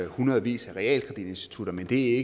hundredvis af realkreditinstitutter men det